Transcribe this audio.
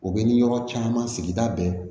O bɛ ni yɔrɔ caman sigida bɛɛ